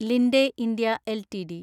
Linde India LTD